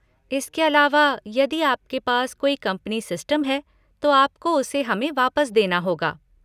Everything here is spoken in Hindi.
इसके अलावा, यदि आपके पास कोई कंपनी सिस्टम है तो आपको उसे हमें वापस देना होगा।